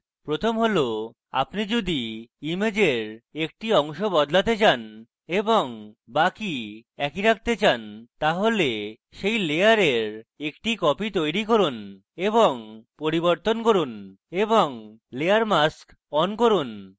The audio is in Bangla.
প্রথম হল আপনি যদি ইমেজের একটি অংশ বদলাতে চান এবং বাকি একই রাখতে চান তাহলে সেই layer একটি copy তৈরী করুন এবং পরিবর্তন করুন এবং তারপর layer mask on করুন